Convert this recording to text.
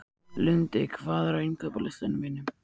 Lundi, hvað er á innkaupalistanum mínum?